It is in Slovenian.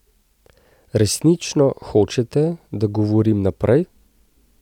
Resnično hočete, da govorim naprej?